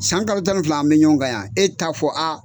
San kalo tan ni fila an bɛ ɲɔgɔn kan yan e t'a fɔ a